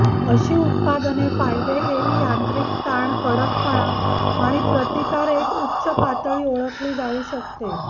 अशी उत्पादने फायदे हेही यांत्रिक ताण कडकपणा आणि प्रतिकार एक उच्च पातळी ओळखली जाऊ शकते